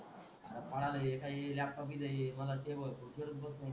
पडाल हे काई लॅपटॉप हि जाये मंग ते वस्तू करत बसायचं